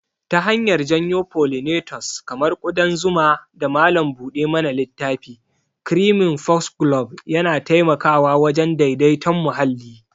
Ta hanyar janyo pollinators kamar ƙudan zuma da malam buɗe mana littafi, creeping foxglove yana taimakawa wajen daidaiton muhalli.